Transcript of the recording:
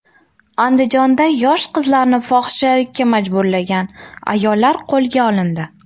Andijonda yosh qizlarni fohishalikka majburlagan ayollar qo‘lga olindi.